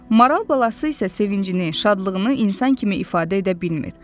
Maral balası isə sevincini, şadlığını insan kimi ifadə edə bilmir.